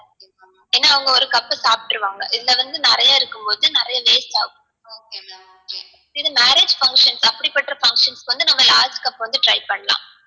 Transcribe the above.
ஏனா அவங்க ஒரு cup சாப்ட்ருவாங்க இதுல வந்து நிறைய இருக்கும்போது நிறைய waste ஆகும் இது marriage function அப்டி பண்ற functions க்கு வந்து நம்ம last cup வந்து try பண்ணலாம்